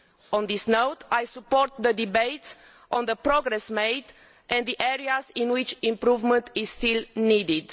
On this note, I support the debates on the progress made and the areas in which improvement is still needed.